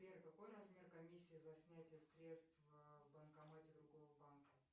сбер какой размер комиссии за снятие средств в банкомате другого банка